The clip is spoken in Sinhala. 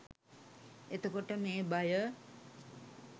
එතකොට මේ බය